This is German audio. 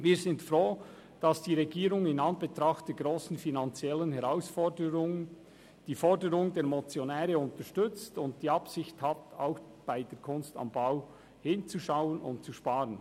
Wir sind froh, dass die Regierung in Anbetracht der grossen finanziellen Herausforderungen die Forderungen der Motionäre unterstützt und die Absicht hat, auch bei der «Kunst am Bau» hinzuschauen und zu sparen.